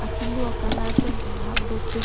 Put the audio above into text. akelu acolour pen inghap dopik an.